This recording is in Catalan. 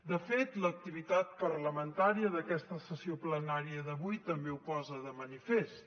de fet l’activitat parlamentària d’aquesta sessió plenària d’avui també ho posa de manifest